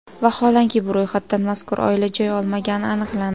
Vaholanki, bu ro‘yxatdan mazkur oila joy olmagani aniqlandi.